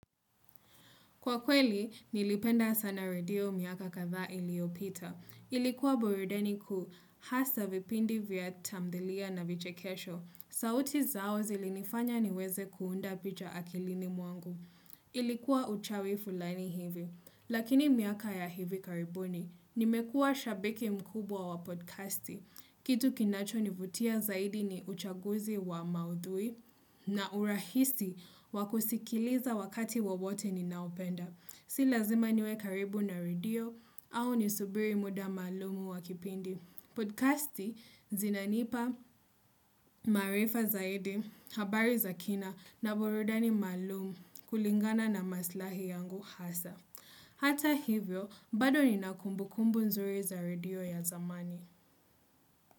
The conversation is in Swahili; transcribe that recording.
Kwa kweli, nilipenda sana redio miaka kadha iliopita. Ilikuwa burudani kuu hasa vipindi vya tamthilia na vichekesho. Sauti zao zilinifanya niweze kuunda picha akilini mwangu. Ilikuwa uchawi fulani hivi. Lakini miaka ya hivi karibuni. Nimekua shabiki mkubwa wa podcasti. Kitu kinacho nivutia zaidi ni uchaguzi wa maudhui. Na urahisi wa kusikiliza wakati wowote ninaopenda. Si lazima niwe karibu na radio au nisubiri muda maalumu wa kipindi. Podcasti zinanipa maarifa zaidi, habari za kina na burudani maalumu kulingana na maslahi yangu hasa. Hata hivyo, bado ninakumbukumbu nzuri za radio ya zamani.